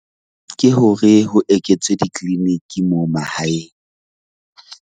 Ke hore ho eketswe di-clinic-i moo mahaeng.